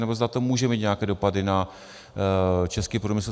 Nebo zda to může mít nějaké dopady na český průmysl.